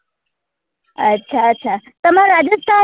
અચ્છા અચ્છા તમાર રાજસ્થાન માં